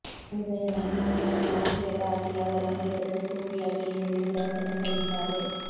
semifinal ಹಣಾಹಣಿಯಲ್ಲಿ Ashleigh Barty ಅವರು ಅಮೆರಿಕದ ಸೋಫಿಯಾ ಕೆನಿನ್ ವಿರುದ್ಧ ಸೆಣಸಲಿದ್ದಾರೆ